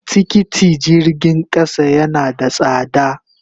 Tikiti jirgin kasa yana da sada.